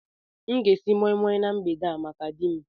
M ga-esi nri moi Moi na mgbede a maka di m